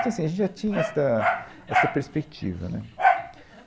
Então, assim, a gente já tinha esta, essa perspectiva, né.